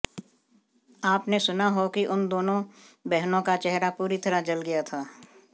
आपने सुना हो कि उन दोनों बहनों का चेहरा पूरी तरह जल गया था